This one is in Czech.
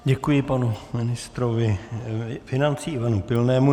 Děkuji panu ministrovi financí Ivanu Pilnému.